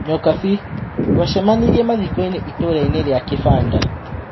Nyokabi: Tũacemanirie mathikoĩnĩ itũrainĩ rĩa kĩbanda.